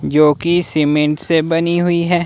जो कि सीमेंट से बनी हुई है।